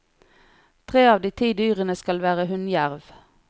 Tre av de ti dyrene skal være hunnjerv.